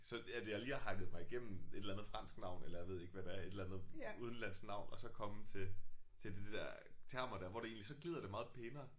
Så at jeg lige har hakket mig igennem et eller andet fransk navn eller jeg ved ikke hvad det er et eller andet udenlandsk navn og så komme til til de der termer der hvor det egentlig så glider det meget pænere